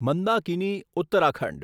Mandakini Uttarakhand